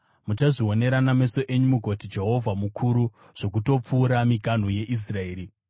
Muchazvionera nameso enyu mugoti, ‘Jehovha mukuru zvokutopfuura miganhu yeIsraeri!’ ”